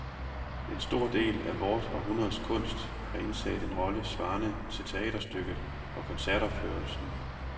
En stor del af vort århundredes kunst har indtaget en rolle svarende til teaterstykket og koncertopførelsen.